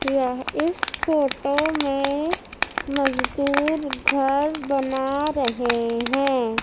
यह इस फोटो में मजदूर घर बना रहे हैं।